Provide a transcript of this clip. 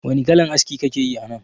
Wani kalan aski kakeyi anan?